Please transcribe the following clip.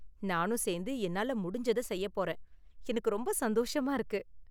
நானும் சேந்து என்னால முடிஞ்சத செய்யப் போறேன், எனக்கு ரொம்ப சந்தோஷமா இருக்கு.